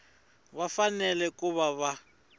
va fanele ku va na